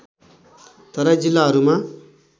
तराई जिल्लाहरूमा